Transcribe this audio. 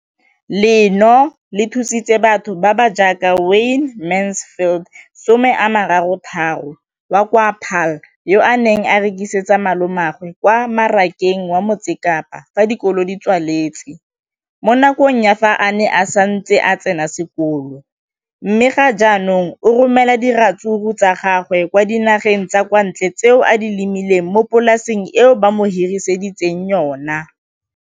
leno le thusitse batho ba ba jaaka Wayne Mansfield, 33, wa kwa Paarl, yo a neng a rekisetsa malomagwe kwa Marakeng wa Motsekapa fa dikolo di tswaletse, mo nakong ya fa a ne a santse a tsena sekolo, mme ga jaanong o romela diratsuru tsa gagwe kwa dinageng tsa kwa ntle tseo a di lemileng mo polaseng eo ba mo hiriseditseng yona.